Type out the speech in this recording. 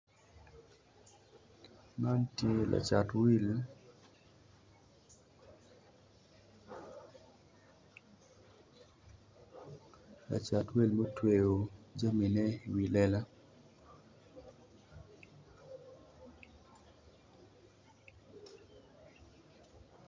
Man tye lacat wil lacat mutweyo jamine i wi lela